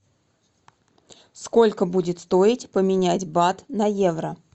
сколько будет стоить поменять бат на евро